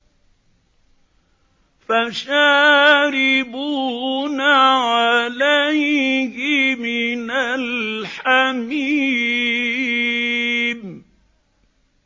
فَشَارِبُونَ عَلَيْهِ مِنَ الْحَمِيمِ